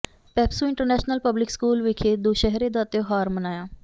PEPSU international public school ਵਿਖੇ ਦੁਸਹਿਰੇ ਦਾ ਤਿਉਹਾਰ ਮਨਾਇਆ